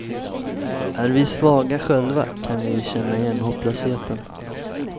Är vi svaga själva, kan vi känna igen hopplösheten.